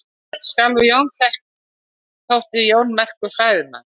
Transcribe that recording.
Sjálfur þótti Jón merkur fræðimaður.